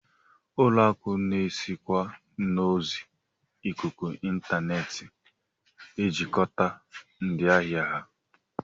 Ụlọakụ na-esikwa n'ozi ikuku intaneet ejikọta ndị ahịa ha